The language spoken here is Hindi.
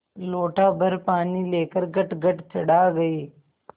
लोटाभर पानी लेकर गटगट चढ़ा गई